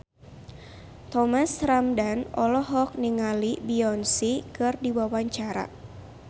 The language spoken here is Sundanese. Thomas Ramdhan olohok ningali Beyonce keur diwawancara